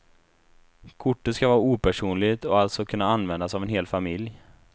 Kortet ska vara opersonligt och alltså kunna användas av en hel familj.